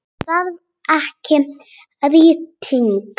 Hún þarf ekki rýting.